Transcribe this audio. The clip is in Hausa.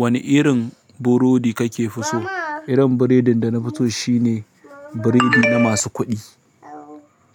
Wane irin burodi kake fi so? Irin burodin danafi so shine burodi na masu kuɗi,